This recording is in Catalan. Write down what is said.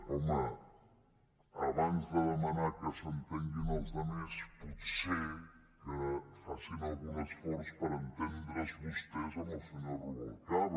home abans de demanar que s’entenguin els altres potser que facin algun esforç per entendre’s vostès amb el senyor rubalcaba